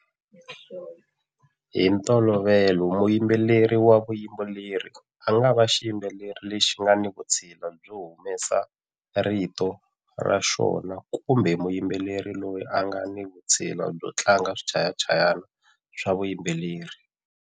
Hi ntolovelo muyimbeleri wa vuyimbeleri a nga va xiyimbeleri lexi nga ni vutshila byo humesa rito ra xona kumbe muyimbeleri loyi a nga ni vutshila byo tlanga swichayachayana swa vuyimbeleri.